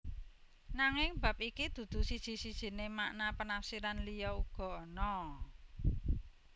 Nanging bab iki dudu siji sijiné makna penafsiran liya uga ana